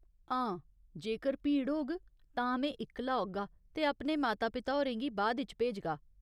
हां, जेकर भीड़ होग तां में इक्कला औगा ते अपने माता पिता होरें गी बाद इच भेजगा।